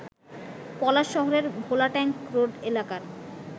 পলাশ শহরের ভোলাট্যাঙ্ক রোড এলাকার